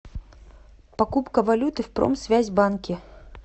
покупка валюты в промсвязьбанке